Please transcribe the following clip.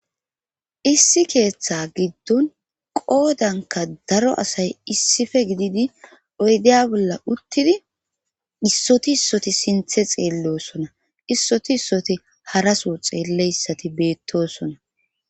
Issi keeththa giddon qoodanka daro asay issife gididi oydeya bolla uttidi issoti issoti sinthe xeellosona issoti issoti haraso xeelleyssati beettosona.